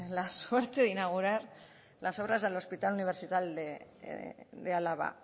la suerte de inaugurar las obras del hospital universitario de álava